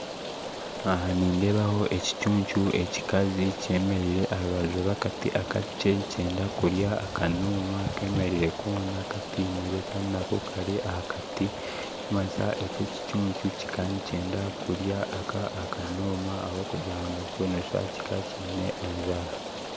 Aha nindebaho ekicuncu ekikazi kyemeriire aha rubaju rwa akati akakye nikyenda kurya akanuma kemeriire kona katinire kandi nako kari aha kati ekyi nikimanyisa eki ekicuncu kikaba nikyenda kurya aka akonoma ahabwokugira nakyo noshusha kikaba kine enjara